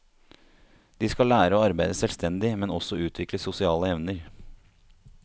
De skal lære å arbeide selvstendig, men også utvikle sosiale evner.